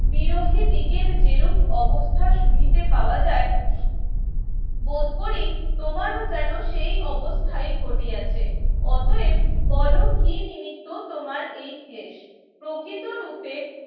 বিরোহীদিগর যেরূপ অবস্থা শুনতে পাওয়া যায় বোধকরি তোমার যেনো সেই অবস্থায় ঘটিয়াছে অতয়েব বোলো কি নিমিত্ত তোমার এই ক্লেশ প্রকৃত রূপে